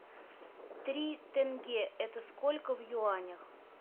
три тенге это сколько в юанях